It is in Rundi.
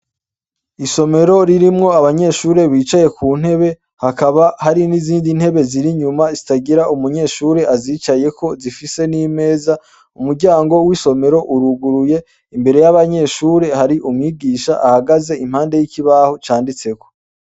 Isomero ririmwo abanyeshure bicaye kuntebe hakaba hari n'izindi ntebe ziri inyuma zitagira uwuzicarako zifise n'imeza imbere yabanyeshure hari umwigisha ahagaze impande yikibaho canditseko.